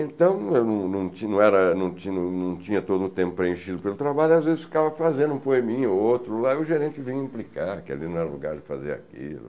Então, eu não não tinha não era não tinha não tinha todo o tempo preenchido pelo trabalho, às vezes ficava fazendo um poeminha ou outro, e o gerente vinha me implicar, que ali não era lugar de fazer aquilo.